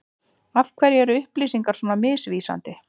Af hverju er upplýsingar svona misvísandi?